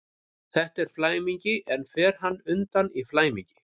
Þetta er flæmingi, en fer hann undan í flæmingi?